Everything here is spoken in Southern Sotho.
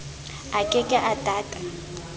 a ke ke a tata